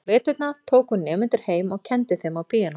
Á veturna tók hún nemendur heim og kenndi þeim á píanó.